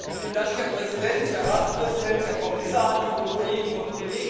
Herr Präsident, Herr Ratspräsident, Herr Kommissar, liebe Kolleginnen und Kollegen!